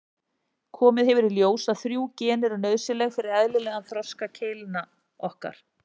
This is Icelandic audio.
Komið hefur í ljós að þrjú gen eru nauðsynleg fyrir eðlilegan þroska keilna okkar.